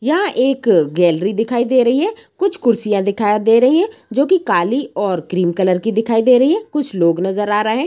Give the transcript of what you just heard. यहाँ एक गैलरी दिखाई दे रही है। कुछ कुर्सियाँ दिखाई दे रही हैं जो कि काली और क्रीम कलर की दिखाई दे रही है। कुछ लोग नजर आ रहे --